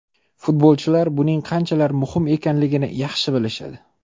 Futbolchilar buning qanchalar muhim ekanini yaxshi bilishadi.